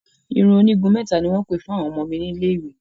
Irun onígun mẹ́ta ni wọ́n pè fún àwọn ọmọ mi ní ilé ìwé